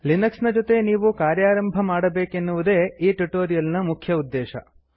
Linux ನ ಜೊತೆ ನೀವು ಕಾರ್ಯಾರಂಭ ಮಾಡಬೇಕೆನ್ನುವುದೇ ಈ ಟ್ಯುಟೋರಿಯಲ್ ನ ಮುಖ್ಯ ಉದ್ದೇಶ